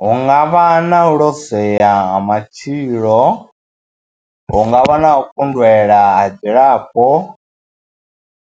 Hu nga vha na u lozwea ha matshilo, hu nga vha na u kundelwa ha dzilafho,